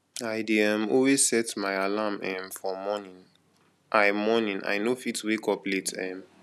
i dey um always set my alarm um for morning i morning i no fit wake up late um